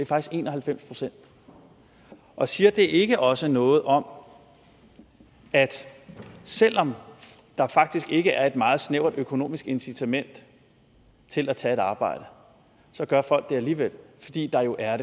faktisk en og halvfems procent og siger det ikke også noget om at selv om der faktisk ikke er et meget snævert økonomisk incitament til at tage et arbejde så gør folk det alligevel fordi der jo er